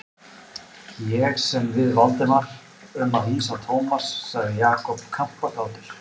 Ég sem við Valdimar um að hýsa Thomas sagði Jakob kampakátur.